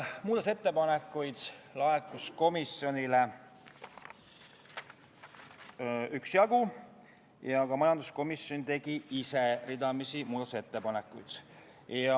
Muudatusettepanekuid laekus komisjonile üksjagu ja ka majanduskomisjon tegi ise ridamisi muudatusettepanekuid.